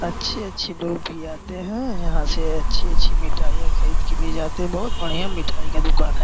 अच्छे-अच्छे लोग भी आते है यहाँ से अच्छी-अच्छी मिठाईया खरीद के ले जाते है बहुत बढ़िया मिठाई की दुकान है।